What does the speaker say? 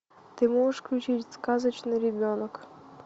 ты можешь включить сказочный ребенок